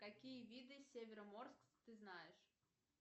какие виды североморск ты знаешь